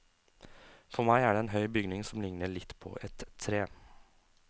For meg er det en høy bygning som ligner litt på et tre.